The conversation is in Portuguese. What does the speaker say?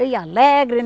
Eu ia alegre,